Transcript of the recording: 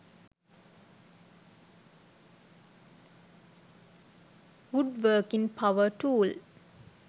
wood working power tool